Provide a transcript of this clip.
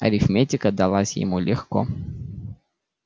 арифметика далась ему легко